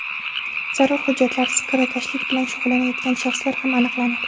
Zarur hujjatlarsiz kirakashlik bilan shug‘ullanayotgan shaxslar ham aniqlanadi.